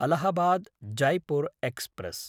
Allahabad-Jaipur express